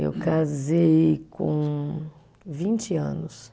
Eu casei com vinte anos.